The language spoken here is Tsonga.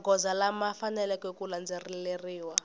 magoza lama faneleke ku landzeleriwa